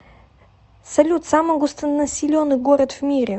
салют самый густонаселенный город в мире